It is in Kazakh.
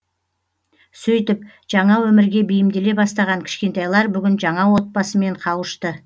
сөйтіп жаңа өмірге бейімделе бастаған кішкентайлар бүгін жаңа отбасымен қауышты